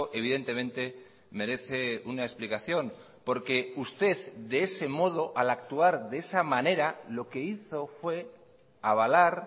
evidentemente merece una explicación porque usted de ese modo al actuar de esa manera lo que hizo fue avalar